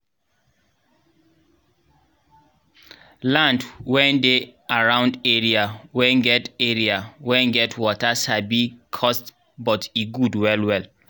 land wen dey around area wen get area wen get water sabi cost but e good well well